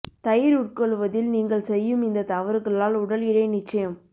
தயிர் உட்கொள்வதில் நீங்கள் செய்யும் இந்த தவறுகளால் உடல் எடை நிச்சயம்